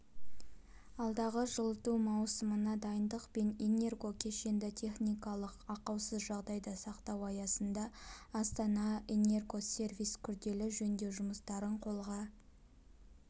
алдағы жылыту маусымына дайындық пен энергокешенді техникалық ақаусыз жағдайда сақтау аясында астанаэнергосервис күрделі жөндеу жұмыстарын қолға